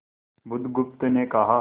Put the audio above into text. बुधगुप्त ने कहा